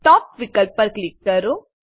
ટોપ વિકલ્પ પર ક્લિક કરો